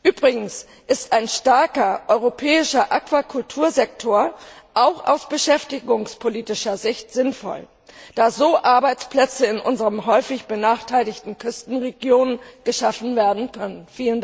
Übrigens ist ein starker europäischer Aquakultursektor auch aus beschäftigungspolitischer Sicht sinnvoll, da so Arbeitsplätze in unseren häufig benachteiligten Küstenregionen geschaffen werden können.